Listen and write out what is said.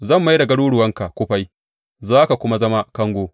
Zan mai da garuruwanka kufai za ka kuma zama kango.